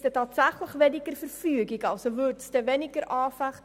Würden tatsächlich weniger Verfügungen erlassen?